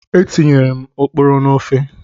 Etinyere m oporo n'ofe.